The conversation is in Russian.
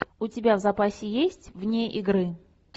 у тебя в запасе есть вне игры